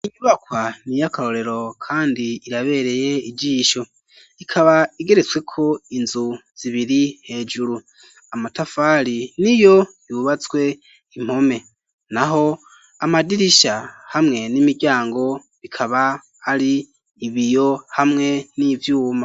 Inyubakwa niyakarorero kandi irabereye ijisho ikaba igeretsweko inzu zibiri hejuru amatafari niyo yubatswe impome naho amadirisha hamwe n'imiryango bikaba ari ibiyo hamwe n'ivyuma.